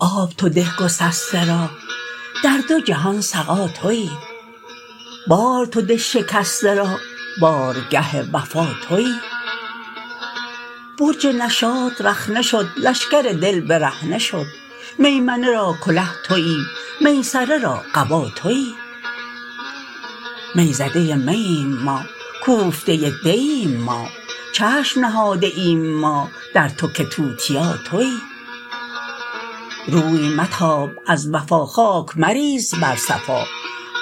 آب تو ده گسسته را در دو جهان سقا توی بار تو ده شکسته را بارگه وفا توی برج نشاط رخنه شد لشکر دل برهنه شد میمنه را کله توی میسره را قبا توی می زده مییم ما کوفته دییم ما چشم نهاده ایم ما در تو که توتیا توی روی متاب از وفا خاک مریز بر صفا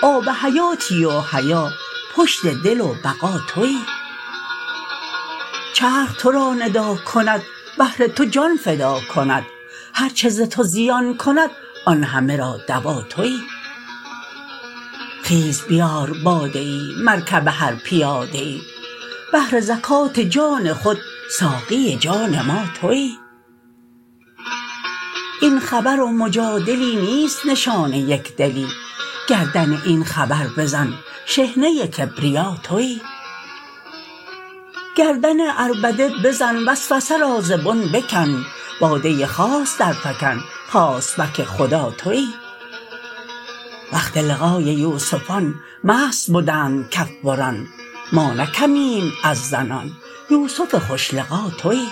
آب حیاتی و حیا پشت دل و بقا توی چرخ تو را ندا کند بهر تو جان فدا کند هر چه ز تو زیان کند آن همه را دوا توی خیز بیار باده ای مرکب هر پیاده ای بهر زکات جان خود ساقی جان ما توی این خبر و مجادلی نیست نشان یک دلی گردن این خبر بزن شحنه کبریا توی گردن عربده بزن وسوسه را ز بن بکن باده خاص درفکن خاصبک خدا توی وقت لقای یوسفان مست بدند کف بران ما نه کمیم از زنان یوسف خوش لقا توی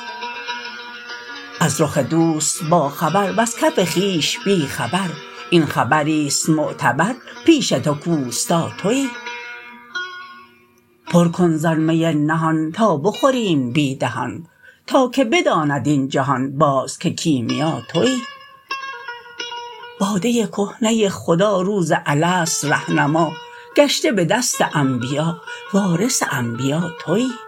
از رخ دوست باخبر وز کف خویش بی خبر این خبری است معتبر پیش تو کاوستا توی پر کن زان می نهان تا بخوریم بی دهان تا که بداند این جهان باز که کیمیا توی باده کهنه خدا روز الست ره نما گشته به دست انبیا وارث انبیا توی